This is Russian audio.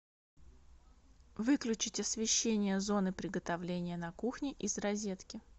выключить освещение зоны приготовления на кухне из розетки